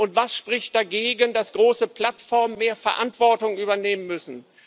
Und was spricht dagegen, dass große Plattformen mehr Verantwortung übernehmen müssen?